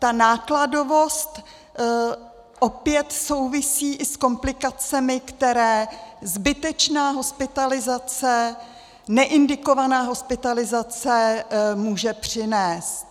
Ta nákladovost opět souvisí i s komplikacemi, které zbytečná hospitalizace, neindikovaná hospitalizace může přinést.